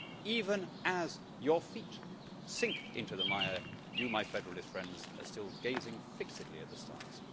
Even as your feet sink into the mire, you, my federalist friends, are still gazing fixedly at the stars.